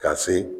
Ka se